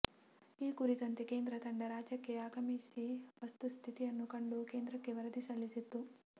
ಈ ಕುರಿತಂತೆ ಕೇಂದ್ರ ತಂಡ ರಾಜ್ಯಕ್ಕೆ ಆಗಮಿಸಿ ವಸ್ತು ಸ್ಥಿತಿಯನ್ನು ಕಂಡು ಕೇಂದ್ರಕ್ಕೆ ವರದಿ ಸಲ್ಲಿಸಿತ್ತು